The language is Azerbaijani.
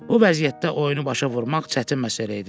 Bu vəziyyətdə oyunu başa vurmaq çətin məsələ idi.